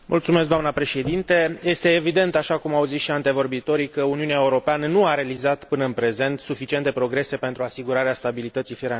Este evident, așa cum au zis și antevorbitorii, că Uniunea Europeană nu a realizat până în prezent suficiente progrese pentru asigurarea stabilității financiare a piețelor sale.